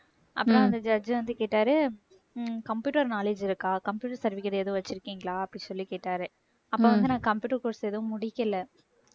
அப்புறம் அந்த judge வந்து கேட்டாரு computer knowledge இருக்கா computer certificate ஏதோ வச்சிருக்கீங்களா அப்படி சொல்லி கேட்டாரு. அப்ப வந்து நான் computer course எதுவும் முடிக்கலை